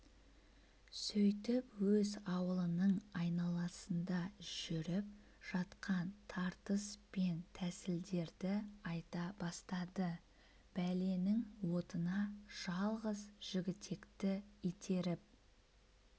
сөйтіп өз аулының айналасында жүріп жатқан тартыс пен тәсілдерді айта бастады бәленің отына жалғыз жігітекті итеріп